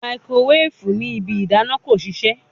Makirowefu ni ibi idana ko sise